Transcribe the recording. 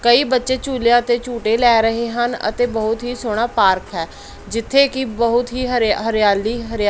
ਕਈ ਬੱਚੇ ਝੂਲਿਆ ਤੇ ਝੂਟੇ ਲੈ ਰਹੇ ਹਨ ਅਤੇ ਬਹੁਤ ਹੀ ਸੋਹਣਾ ਪਾਰਕ ਹੈ ਜਿੱਥੇ ਕਿ ਬਹੁਤ ਹੀ ਹਰਿ ਹਰਿਆਲੀ ਹਰਿਆ--